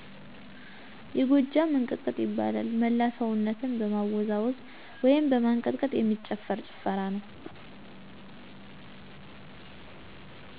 የጎጃም እንቅጥቅጥ ይባላል። መላ ሰውነትን በማወዛወዝ ወይም በማንቀጥቀጥ የሚጨፍር ጭፈራ ነው።